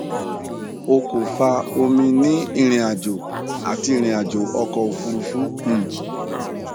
o ko fa omi ni irinajo ati irinajo ọkọ ofurufu um